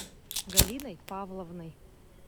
галиной павловной